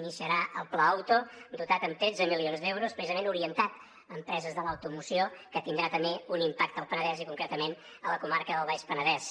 iniciarà el pla auto dotat amb tretze milions d’euros precisament orientat a empreses de l’automoció que tindrà també un impacte al penedès i concretament a la comarca del baix penedès